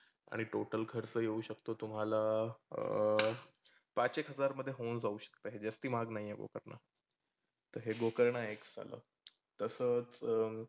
आणि total खर्च येऊ शकतो तो तुम्हाला अं पाच एक हजारमध्ये होऊन जाऊ शकते. जास्ती महाग नाहीए. गोकर्णा हे एक झालं. तसंच अं